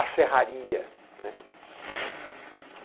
A serraria, né?